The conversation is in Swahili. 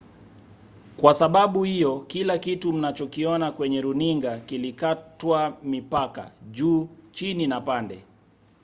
kwa sababu hiyo kila kitu mnachokiona kwenye runinga kilikatwa mipaka juu chini na pande